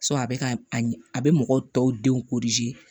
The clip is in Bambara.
a bɛ ka a bɛ mɔgɔ tɔw denw